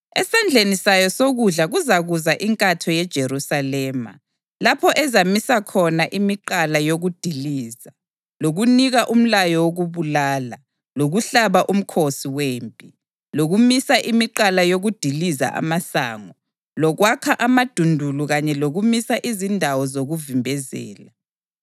Esandleni sayo sokudla kuzakuza inkatho yeJerusalema, lapho ezamisa khona imigqala yokudiliza, lokunika umlayo wokubulala, lokuhlaba umkhosi wempi, lokumisa imigqala yokudiliza amasango, lokwakha amadundulu kanye lokumisa izindawo zokuvimbezela.